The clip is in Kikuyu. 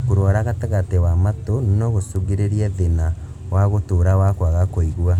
Kũrwarwa gatagatĩ wa matũ nogũcũngĩrĩrie thĩna wa gũtũra wa kwaga kũigua